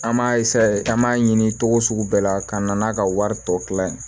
An m'a an b'a ɲini cogo sugu bɛɛ la ka na n'a ka wari tɔ tila ye